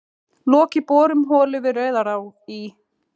Lokið borun holu við Rauðará í